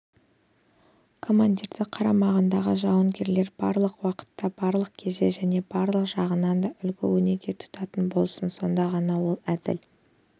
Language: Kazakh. командирді қарамағындағы жауынгерлер барлық уақытта барлық кезде және барлық жағынан да үлгі-өнеге тұтатын болсын сонда ғана ол әділ